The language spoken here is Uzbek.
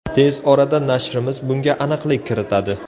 Tez orada nashrimiz bunga aniqlik kiritadi.